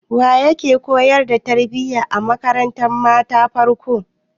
Wake koyar da tarbiya a makarantar matan farko?